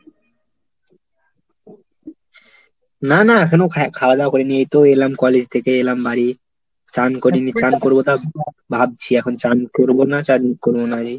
না না এখনো খা~ খাওয়া দাওয়া করিনি, এই তো এলাম college থেকে এলাম বাড়ি। চান করিনি, চান করবো তাও ভাবছি এখন চান করবো না, চান করবো না রে।